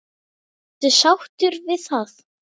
Varstu sáttur við það?